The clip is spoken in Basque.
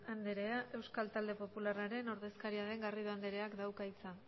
andrea euskal talde popularraren ordezkaria den garrido andreak dauka hitza